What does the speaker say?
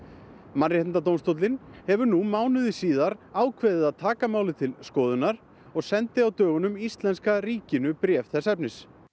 Mannréttindadómstóllinn hefur nú mánuði síðar ákveðið að taka málið til skoðunar og sendi á dögunum íslenska ríkinu bréf þess efnis